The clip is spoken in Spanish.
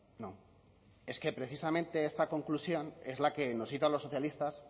no es que precisamente esta conclusión es la que nos hizo los socialistas